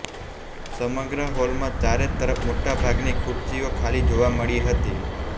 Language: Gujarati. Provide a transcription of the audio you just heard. સમગ્ર હોલમાં ચારે તરફ મોટાભાગની ખુરશીઓ ખાલી જોવા મળી હતી